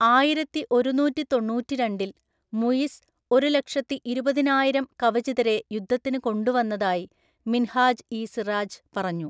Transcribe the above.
ആയിരത്തിഒരുനൂറ്റിതൊണ്ണൂറ്റിരണ്ടില്‍ മുയിസ് ഒരുലക്ഷത്തിഇരുപതിനായിരം കവചിതരെ യുദ്ധത്തിന് കൊണ്ടുവന്നതായി മിൻഹാജ് ഇ സിറാജ് പറഞ്ഞു.